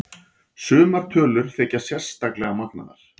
Sumar tölur þykja sérstaklega magnaðar.